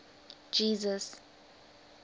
jesus